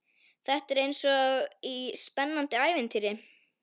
Þetta er eins og í spennandi ævintýri.